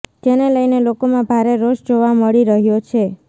જેને લઈને લોકોમાં ભારે રોષ જોવા મળી રહ્યો છે